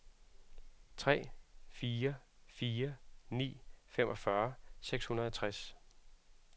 tre fire fire ni femogfyrre seks hundrede og tres